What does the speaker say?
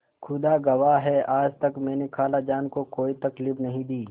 खुदा गवाह है आज तक मैंने खालाजान को कोई तकलीफ नहीं दी